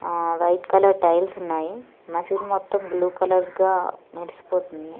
ఆహ్ white colour tiles ఉన్నాయి మసీదు మొత్తం బ్లూ కలర్ గా మెరిసిపోతుంది.